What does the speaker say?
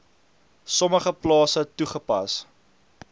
sommige plase toegepas